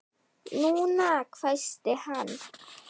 NÚNA! hvæsti hann.